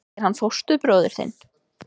Er hann fóstbróðir þinn?